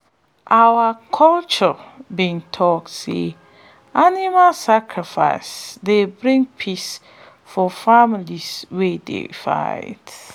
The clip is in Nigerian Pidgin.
our culture be talk say animal sacrifice dey bring peace for families wey dey fight.